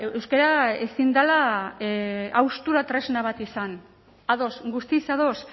euskara ezin dela haustura tresna bat izan ados guztiz ados